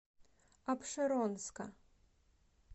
апшеронска